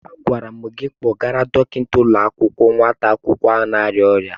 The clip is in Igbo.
Agwara m gị kpọgara dọkịta ụlọ akwụkwọ nwata akwụkwọ ahụ na-arịa ọrịa.